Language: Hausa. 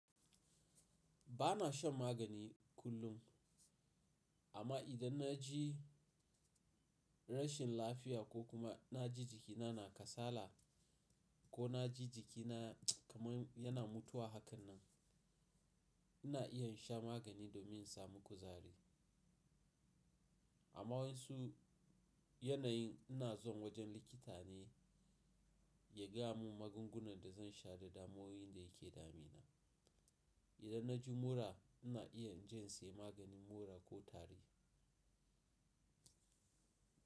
Ba na shan magani kullum, amma idan na ji rashin lafiya ko kuma na ji jikina na kasala ko na ji jikina kamar yana mutuwa, haka nan ina iya sha magani domin in samu kuzari. Amma wasu yanayin ina zuwa wajen likita ne ya gaya mun magungunan da zan sha da damuwun da yake damina. Idan na ji mura ina iya jin sayi maganin mura ko tari.